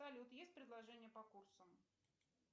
салют есть предложение по курсам